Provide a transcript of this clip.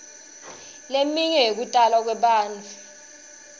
leminye yekutalwa kwebantfu